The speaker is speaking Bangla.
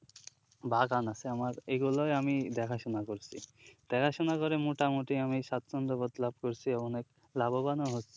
বাগান আছে আমার এইগুলোই আমি দেখাশুনা করছি দেখাশুনা করে মোটামুটি আমি স্বাছন্দ্যবোধ লাভ করছি এবং অনেক লাভবানও হচ্ছি